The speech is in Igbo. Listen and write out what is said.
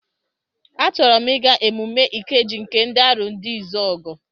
A chọrọ m ịga emume Ikeji nke ndị Arondizuogu.